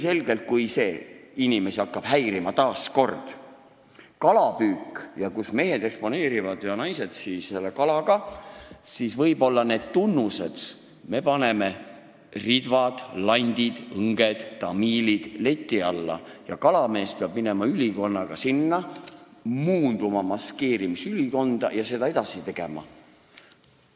Ja kui inimesi hakkab häirima kalapüük ning see, kui mehed ja naised eksponeerivad end koos kaladega, siis lähevad võib-olla need n-ö tunnused – ridvad, landid, õnged, tamiilid – leti alla ja kalamees peab muunduma, maskeerimisülikonnas edasi tegutsema.